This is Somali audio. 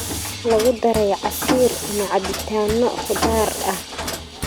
Lagu daray casiir ama cabitaano khudaar ah.